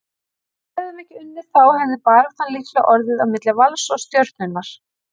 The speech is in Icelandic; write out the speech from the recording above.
Ef við hefðum ekki unnið þá hefði baráttan líklega orðið á milli Vals og Stjörnunnar,